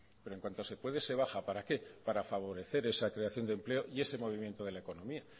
pero en cuanto se puede se baja para qué para favorecer esa creación de empleo y ese movimiento de la economía